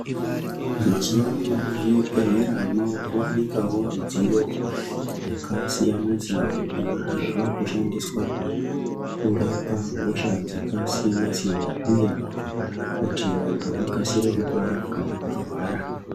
Mazuva ano mu zvibhedhlera mava ku wanikwawo midziyo yaka siyana siyana iyo yava kushandiswa kurapa hosha dzaka siyana siyana uye kuti vantu vakasire kupora kana varwara.